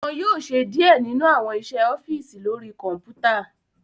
Wọn yóò ṣe diẹ nínu awọn iṣẹ ọfiisi lori kọnputa